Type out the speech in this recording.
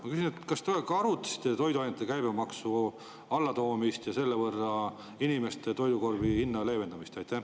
Ma küsin: kas te arutasite toiduainete käibemaksu alandamist ja selle võrra inimeste toidukorvi hinna leevendamist?